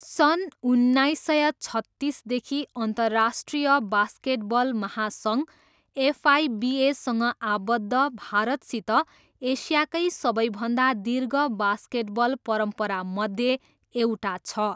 सन् उन्नाइस सय छत्तिसदेखि अन्तर्राष्ट्रिय बास्केटबल महासङ्घ, एफआइबिएसँग आबद्ध, भारतसित एसियाकै सबैभन्दा दीर्घ बास्केटबल परम्परामध्ये एउटा छ।